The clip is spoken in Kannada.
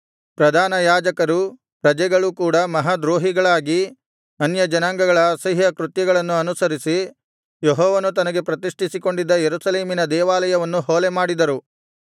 ಪ್ರಧಾನಯಾಜಕರೂ ಪ್ರಜೆಗಳೂ ಕೂಡ ಮಹಾ ದ್ರೋಹಿಗಳಾಗಿ ಅನ್ಯಜನಾಂಗಗಳ ಅಸಹ್ಯ ಕೃತ್ಯಗಳನ್ನು ಅನುಸರಿಸಿ ಯೆಹೋವನು ತನಗೆ ಪ್ರತಿಷ್ಠಿಸಿಕೊಂಡಿದ್ದ ಯೆರೂಸಲೇಮಿನ ದೇವಾಲಯವನ್ನು ಹೊಲೆಮಾಡಿದರು